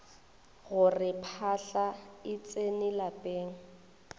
gore phahla e tsene lapeng